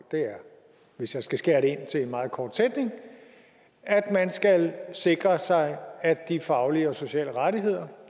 hvis jeg skal skære det ned til en meget kort sætning at man skal sikre sig at de faglige og sociale rettigheder